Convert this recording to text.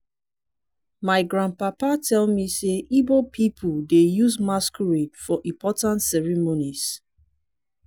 my grandpapa tell me sey igbo pipo dey use masquerade for important ceremonies.